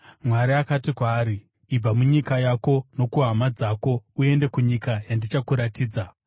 Mwari akati kwaari, ‘Ibva munyika yako nokuhama dzako, uende kunyika yandichakuratidza.’